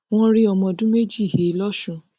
wọn rí ọmọ ọdún méjì he lọsùn